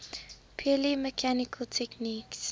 purely mechanical techniques